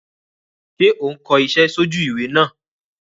Sé o n ko isé sójú ìwé náà